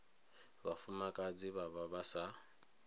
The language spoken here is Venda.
vhafumakadzi vha vha vha sa